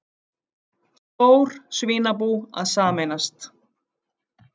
Stór svínabú að sameinast